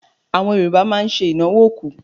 Àwọn Yorùbá máa ń ṣe ìnáwó òkú.